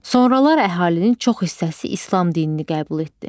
Sonralar əhalinin çox hissəsi İslam dinini qəbul etdi.